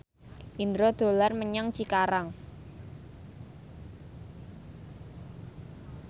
Indro dolan menyang Cikarang